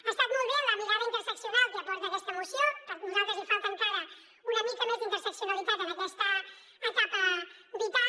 ha estat molt bé la mirada interseccional que aporta aquesta moció per nosaltres hi falta encara una mica més d’interseccionalitat en aquesta etapa vital